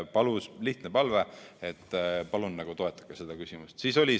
Lihtne palve: palun toetage seda küsimust!